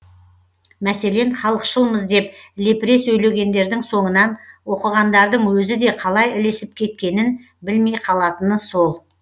мәселен халықшылмыз деп лепіре сөйлегендердің соңынан оқығандардың өзі де қалай ілесіп кеткенін білмей қалатыны сол